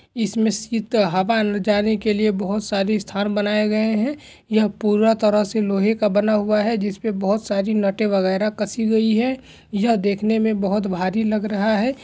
इसमें शीत हवा ले जाने के लिए बोहोत सारी स्थान बनाए गए है यह पूरा तरह से लोहे का बना हुआ है जिसपे बहोत सारी नटे वगेेरा कसी गई है यह देखने में बोहोत भारी लग रहा है।